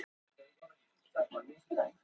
Jóný, hvernig er veðrið á morgun?